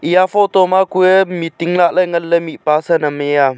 eya photo ma kue meeting lah ley ngan ley mihpa san am e a.